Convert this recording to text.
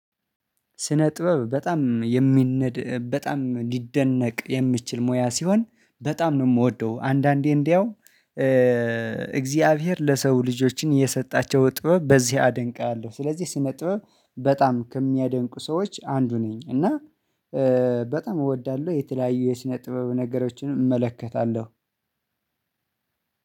ስነ ጥበብ በጣም የሚነድ በጣም ሊደነቅ የሚችል ሙያ ሲሆን በጣም ነው የምወደው አንዳንዴ እንደው እግዚአብሔር ለሰው ልጆችን የሰጣቸው ጥበብ በዚህ አደንቃለሁ። ስለዚህ ስነ ጥበብ በጣም ከሚያደንቁ ሰዎች አንዱ ነኝ እና በጣም እወዳለሁ። የተለያዩ የስነ ጥበብ ነገሮችን እመለከታለሁ።